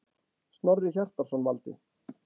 Snorri Hjartarson valdi.